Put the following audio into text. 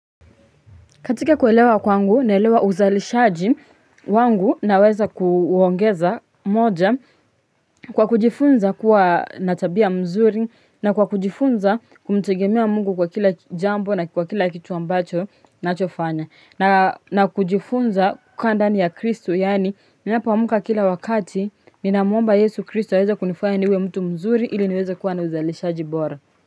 Katika kuelewa kwangu, naelewa uzalishaji wangu naweza kuuongeza moja kwa kujifunza kuwa na tabia mzuri na kwa kujifunza kumtegemea Mungu kwa kila jambo na kwa kila kitu ambacho nachofanya na. Na kujifunza kukaa ndani ya kristo, yani ninapoamka kila wakati ninamuomba Yesu kristo aweze kunifanya niwe mtu mzuri ili niweze kuwa na uzalishaji bora.